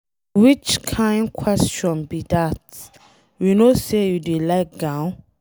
Which kin question be dat. We no say you dey like gown.